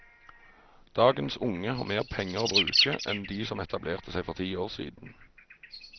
Dagens unge har mer penger å bruke enn de som etablerte seg for ti år siden.